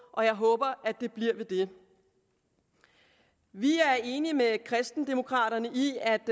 og jeg håber at det bliver ved det vi er enige med kristendemokraterne i at